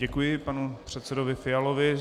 Děkuji panu předsedovi Fialovi.